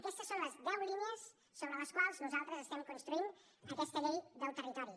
aquestes són les deu línies sobre les quals nosaltres estem construint aquesta llei del territori